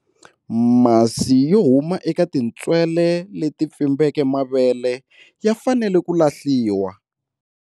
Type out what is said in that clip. Masi yo huma eka tintswele leti pfimbeke mavele ya fanele ku lahliwa.